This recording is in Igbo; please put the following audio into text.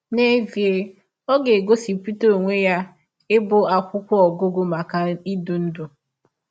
N’ezie ọ ga - egosipụta ọnwe ya ịbụ akwụkwọ ọgụgụ maka ịdị ndụ!